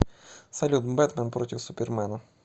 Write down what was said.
салют бэтмэн против супермена